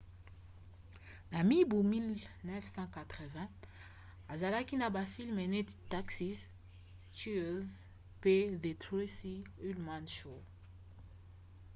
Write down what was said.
na mibu 1980 asalaki na bafilme neti taxi cheers pe the tracy ullman show